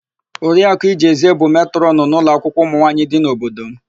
Oriaku Ijezie bụ matrọnụ n'ụlọakwụkwọ ụmụnwaanyị dị n'obodo m.